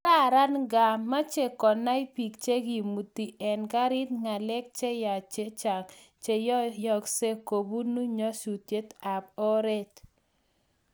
kararan ingaa meche konay biik chegemutii eng karit ngalek cheyach chechang cheyoyosgeei kobunu nyasusiet ab oret